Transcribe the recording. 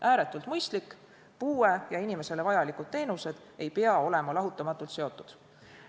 Ääretult mõistlik, sest puue ja inimestele vajalikud teenused ei pea olema lahutamatult seotud.